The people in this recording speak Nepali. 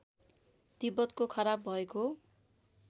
तिब्बतको खराब भएको